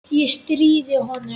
Ég stríði honum.